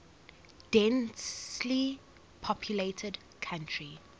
densely populated country